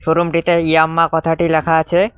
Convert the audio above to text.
শোরুমটিতে ইয়াম্মা কথাটি লেখা আছে।